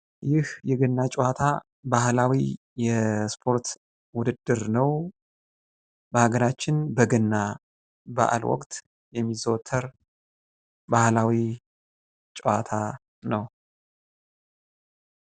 ይህ የገና ጨዋታ ባህላዊ የስፖርት ውድድር ነው:: በሀገራችን በገና በዓል ወቅት የሚዘወተር ባህላዊ ጨዋታ ነው ::